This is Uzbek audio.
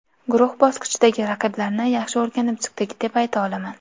Guruh bosqichidagi raqiblarni yaxshi o‘rganib chiqdik, deb ayta olaman.